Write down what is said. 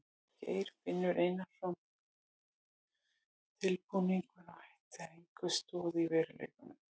Geir finns Einarssonar væri tilbúningur og ætti sér enga stoð í veruleikanum.